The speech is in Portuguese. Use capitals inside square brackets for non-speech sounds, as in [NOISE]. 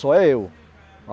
Só é eu. [UNINTELLIGIBLE]